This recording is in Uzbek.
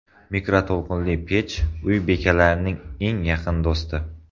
Mikroto‘lqinli pech uy bekalarining eng yaqin do‘sti.